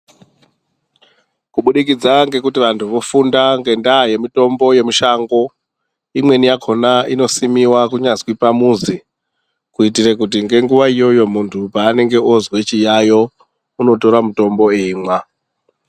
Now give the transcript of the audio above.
Kubudikidza ngekuti vantu vofunda ngendaa yemutombo vemushango. Imweni yakona inosimiva kunyazwi pamuzi, kuitire kuti ngenguva iyoyo muntu paanenge ozwe chiyayo unotore mutombo eimwa.